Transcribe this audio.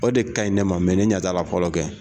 O de kaɲi ne ma ne ɲatala fɔlɔ kɛ.